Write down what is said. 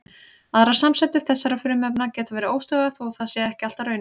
Aðrar samsætur þessara frumefna geta verið óstöðugar þó það sé ekki alltaf raunin.